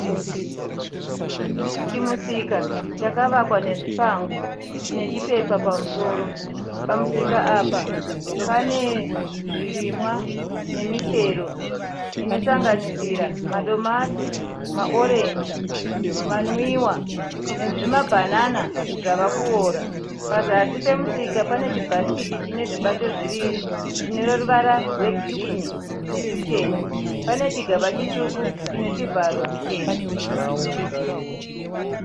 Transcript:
Chimusika chakavakwa nezvipango nechipepa pamusoro. Pamusika apa pane zvirimwa nemichero inosanganisira madomasi, maorenji, manwiwa nezvimabhanana zvavakuora. Pazasi pemusika pane chibhasikiti chine zvibato zviviri chine ruvara rwegirini netwuchena. Pane chigaba chitsvuku chine chivharo chichena.